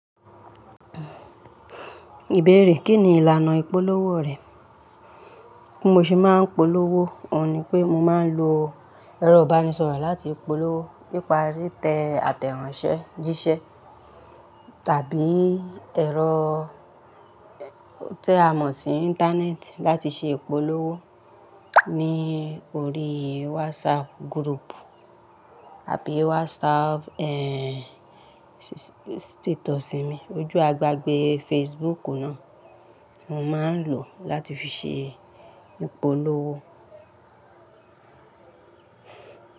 Ìbéèrè, kín ni ìlànà ìpolówó rẹ? Bí mo ṣe máa ń polówó, òun ni pé mo máa ń lo ẹ̀rọ ìbánisọ̀rọ̀ láti polówó nípa rí tẹ àtẹ̀ránsẹ́ jíṣẹ́ tàbí ẹ̀rọ ti a mọ̀ sí Íńtánẹ́ẹ̀tì láti ṣe ìpolówó ní orí WhatsApp group àbí WhatsApp, status mi. Ojú agbágbe Facebook náà mo máa ń lò láti fi ṣe ìpolówó.